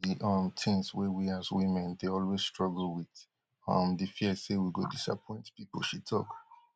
na one of di um tins wey we as women dey always struggle wit um di fear say we go disappoint people she tok